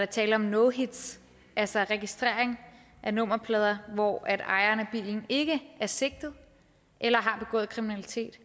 tale om no hits altså registrering af nummerplader hvor ejeren af bilen ikke er sigtet eller har begået kriminalitet